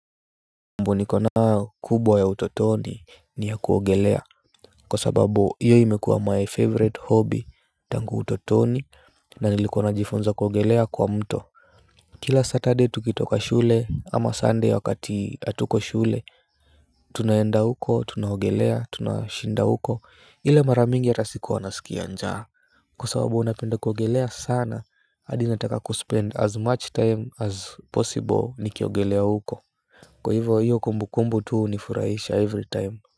Mbunikona kubwa ya utotoni ni ya kuogelea. Kwa sababu hiyo imekuwa my favorite hobby tangu utotoni na nilikuwa najifunza kuogelea kwa mto. Kila saturday tukitoka shule ama sunday wakati atuko shule tunaenda huko tunahogelea tunashinda huko ila mara mingi ata sikuwa nasikia njaa. Kwa sababu unapenda kuogelea sana adi nataka kuspend as much time as possible nikiogelea huko. Kwa hivyo hiyo kumbukumbu tuu unifuraisha every time.